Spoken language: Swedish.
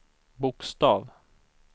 bokstav